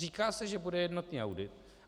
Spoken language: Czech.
Říká se, že bude jednotný audit.